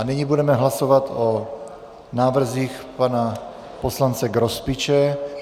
A nyní budeme hlasovat o návrzích pana poslance Grospiče.